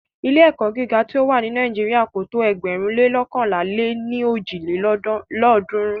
Ilé-ẹ̀kọ́ gíga tí o wà ni Nàíjírà kò tó ėgbẹ̀rún lé loókànlá lé ní ojì lélọ́ọ̀dúnrún.